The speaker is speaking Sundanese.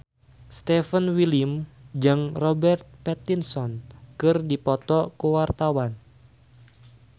Stefan William jeung Robert Pattinson keur dipoto ku wartawan